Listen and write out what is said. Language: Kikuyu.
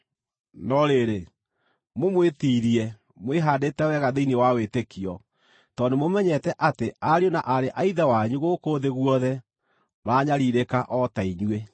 No rĩrĩ, mũmwĩtiirie, mwĩhaandĩte wega thĩinĩ wa wĩtĩkio, tondũ nĩmũmenyete atĩ ariũ na aarĩ a Ithe wanyu gũkũ thĩ guothe maranyariirĩka o ta inyuĩ.